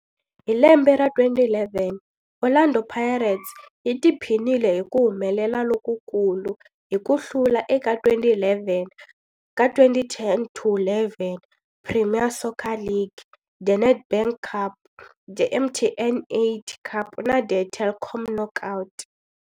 Hi lembe ra 2011, Orlando Pirates yi tiphinile hi ku humelela lokukulu hi ku hlula eka 2010 to11 Premier Soccer League, The Nedbank Cup, The MTN 8 Cup na The Telkom Knockout.